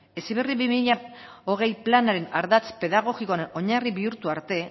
heziberri bi mila hogei planaren ardatz pedagogiko oinarri bihurtu arte